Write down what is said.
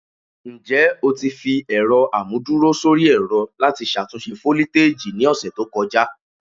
Njẹ o ti fi ẹrọ amuduro sori ẹrọ lati ṣatunṣe foliteji ni ọsẹ to kọja?